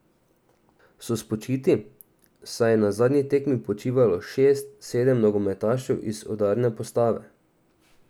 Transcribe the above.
So spočiti, saj je na zadnji tekmi počivalo šest, sedem nogometašev iz udarne postave.